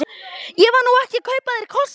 Ég var nú ekki að kaupa af þér kossa.